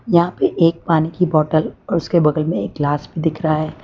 यहां पे एक पानी की बॉटल और उसके बगल में एक ग्लास भी दिख रहा है।